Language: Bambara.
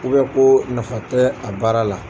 ko nafa tɛ a baara la.